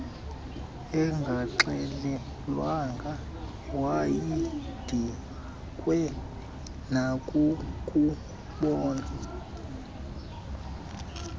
engaxelelwanga wayedikwe nakukubona